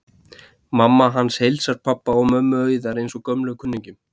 Mamma hans heilsar pabba og mömmu Auðar eins og gömlum kunningjum.